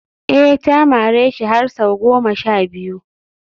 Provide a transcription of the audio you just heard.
eh ta mareshi har sau goma sha biyu